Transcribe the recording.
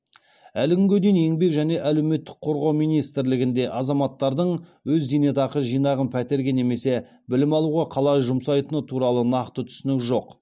әлі күнге дейін еңбек және әлеуметтік қорғау министрлігінде азаматтардың өз зейнетақы жинағын пәтерге немесе білім алуға қалай жұмсайтыны туралы нақты түсінік жоқ